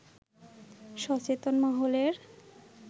সচেতন মহলের